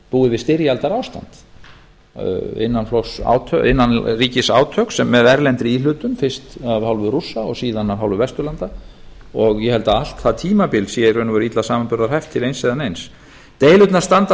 búið við styrjaldarástand innanríkisátök með erlendri íhlutun fyrst af hálfu rússa og síðan af hálfu vesturlanda og ég held að allt það tímabil sé í raun og veru illa samanburðarhæft til eins eða neins deilurnar standa að